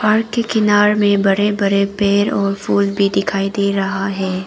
घर के किनारे में बड़े बड़े पेड़ और फूल दिखाई दे रहा है।